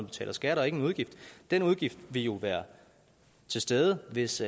betaler skat og er ikke en udgift den udgift ville jo være til stede hvis